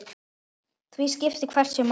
Því skiptir hvert stig máli.